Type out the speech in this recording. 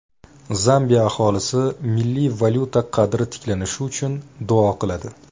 Zambiya aholisi milliy valyuta qadri tiklanishi uchun duo qiladi.